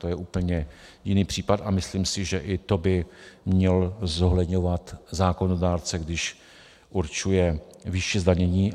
To je úplně jiný případ a myslím si, že i to by měl zohledňovat zákonodárce, když určuje výši zdanění.